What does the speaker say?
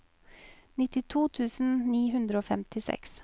nittito tusen ni hundre og femtiseks